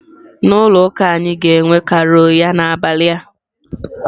Na ụka anyị ga-enwe carol ya n'abalị a.